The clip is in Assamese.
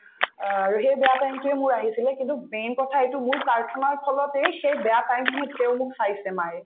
অ, আৰু সেই বেয়া time তোয়ে মোৰ আহিছিলে কিন্তু main কথা এইটো মোৰ প্ৰাৰ্থনাৰ ফলতেই সেই বেয়া time খিনিত তেওঁ মোক চাইছে মায়ে